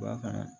Ba fana